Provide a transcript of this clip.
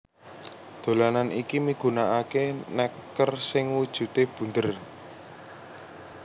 Dolanan iki migunakaké nèker sing wujudé bunder